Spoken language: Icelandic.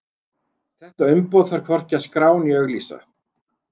Þetta umboð þarf hvorki að skrá né auglýsa.